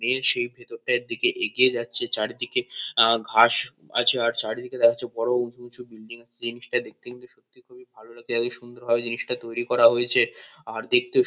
এ সেই ভেতরটার দিকে এগিয়ে যাচ্ছে চারিদিকে আ ঘাস আছে আর চারিদিকে দেখা যাচ্ছে বড়ো উঁচু উঁচু বিল্ডিং -এ জিনিসটা দেখতে কিন্তু সত্যি খুবই ভালো লাগছে। এতো সুন্দর ভাবে জিনিসটা তৈরী করা হয়েছে ৷ আর দেখতেও সু --